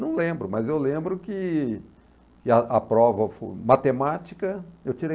Não lembro, mas eu lembro que que a a prova matemática, eu tirei